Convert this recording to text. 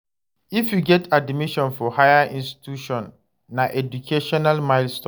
If you get admission for higher institution, na educational milestone.